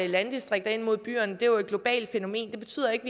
landdistrikterne ind mod byerne jo er et globalt fænomen det betyder ikke